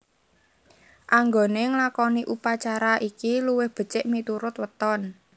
Anggone nglakoni upacara iki luwih becik miturut weton